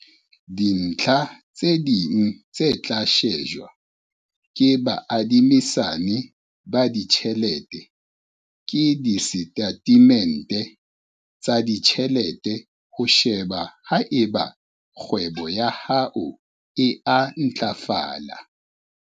Dintlha tse ding tse tla shejwa ke baadimisani ba ditjhelete ke disetatemente tsa ditjhelete ho sheba haeba kgwebo ya hao e a ntlafala.